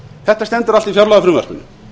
þetta stendur allt í fjárlagafrumvarpinu